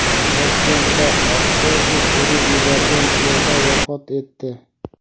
Toshkentda avtobus urib yuborgan piyoda vafot etdi.